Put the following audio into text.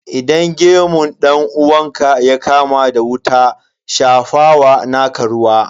Idan gemun dan uwanka ya kama da wuta, shafa wa naka ruwa.